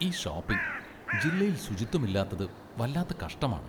ഈ ഷോപ്പിംഗ് ജില്ലയിൽ ശുചിത്വമില്ലാത്തത് വല്ലാത്ത കഷ്ടമാണ്.